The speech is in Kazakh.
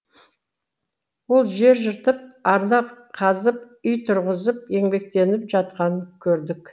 ол жер жыртып арна қазып үй тұрғызып еңбектеніп жатқанын көрдік